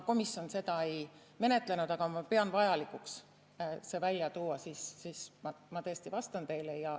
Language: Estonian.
Komisjon seda ei menetlenud, aga ma pean vajalikuks see välja tuua ja ma siiski vastan teile.